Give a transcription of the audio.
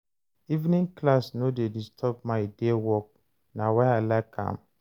Evening class no dey disturb my day work, na why I like am.